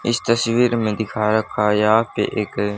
इस तस्वीर में दिखा रखा यहां पे एक--